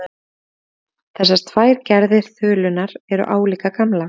Þessar tvær gerðir þulunnar eru álíka gamlar.